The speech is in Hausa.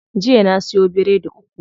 Jiya na siyo biredi uku.